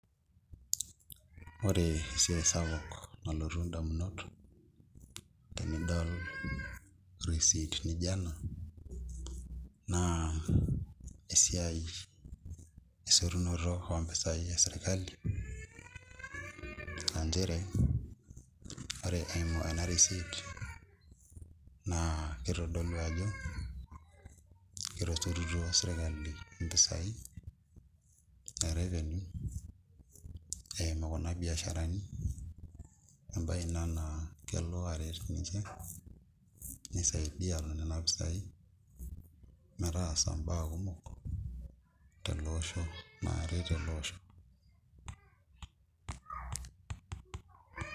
Ore esiai sapuk nalotu indamunot tinidol receipt nijo ena naa esiai esotunoto ompisai esirkali anchere ore eimu ena receipt naa kitodolu ajo etosotutuo sirkali impisai e revenue eimu kuna biasharani embaye ina naa kelo aret ninche nisaidia tonena pisai metaasa imbaa kumok tele osho naaret ele osho.